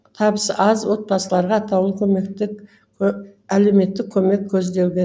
табысы аз отбасыларға атаулы әлеуметтік көмек көзделген